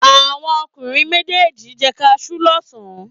Àwọn ọkùnrin méjèèjì jẹ kaṣú lọ́sàn-án.